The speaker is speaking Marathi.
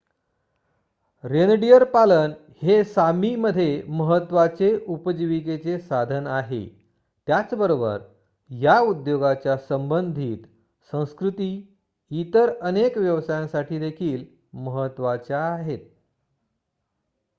रेनडीअर पालन हे सामी मध्ये महत्त्वाचे उपजीविकेचे साधन आहे त्याचबरोबर या उद्योगाच्या संबधित संस्कृती इतर अनेक व्यवसायासाठी देखील महत्त्वाच्या आहेत